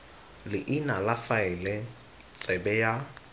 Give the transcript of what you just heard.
leina la faele tsebe ya